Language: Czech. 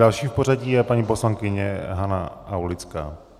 Další v pořadí je paní poslankyně Hana Aulická.